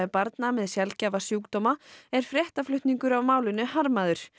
barna með sjaldgæfa sjúkdóma er fréttaflutningur af málinu harmaður